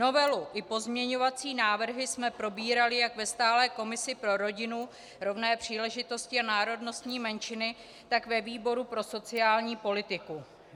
Novelu i pozměňovací návrhy jsme probírali jak ve stálé komisi pro rodinu, rovné příležitosti a národnostní menšiny, tak ve výboru pro sociální politiku.